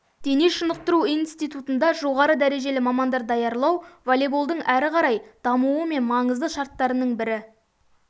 дене шынықтыру институтында жоғары дәрежелі мамандарды даярлау волейболдың арқарай дамуы мен маңызды шарттырының бірі